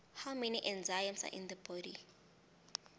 how many enzymes are in the body